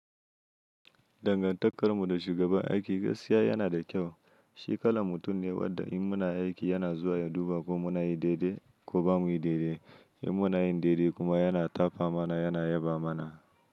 Dangantakarmu da shugaban aiki gaskiya yana da kyau. Shikala mutum ne wadda in muna aiki yana zuwa ya duba ko muna yi daidai ko bamu yi daidai. In muna yin daidai kuma yana tafa mana, yana yaba mana.